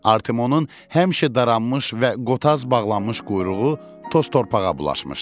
Artemonun həmişə daranmış və qotaz bağlanmış quyruğu toz torpağa bulaşmışdı.